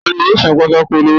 Tani yóò sán ọwọ pàtàkó olọwọ naa.?